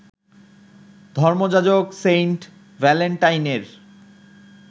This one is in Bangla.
ধর্মযাজক সেইন্ট ভ্যালেন্টাইনের